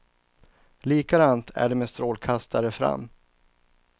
Likadant är det med strålkastare fram.